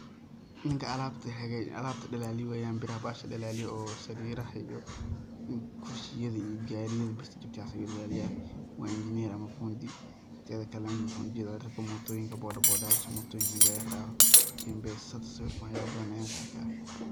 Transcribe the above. Ninka Alabta dalaliyo weyan, biraxa baxasxa dalaliyo, o sariraxa iyo, kursiyada iyo gariyada birta kajabte waxaas ayuu dalaliyaa waa engineer ama fundi tetxa kalaana waxaan ujetxaa raga motoyinka boda boda yasxaa motoyinka marki lagarewo mpesa t siwirkaan wax yala batxaan ayan kuarki xayaa.